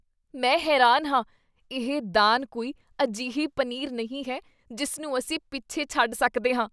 ਮੈਂ ਹੈਰਾਨ ਹਾਂ! ਇਹ ਦਾਨ ਕੋਈ ਅਜਿਹੀ ਪਨੀਰ ਨਹੀਂ ਹੈ ਜਿਸ ਨੂੰ ਅਸੀਂ ਪਿੱਛੇ ਛੱਡ ਸਕਦੇ ਹਾਂ।